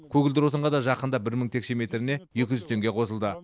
көгілдір отынға да жақында бір мың текше метріне екі жүз теңге қосылды